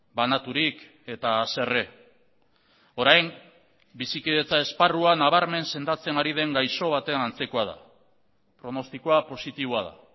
banaturik eta haserre orain bizikidetza esparruan nabarmen sendatzen ari den gaixo baten antzekoa da pronostikoa positiboa da